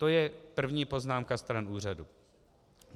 To je první poznámka stran úřadu.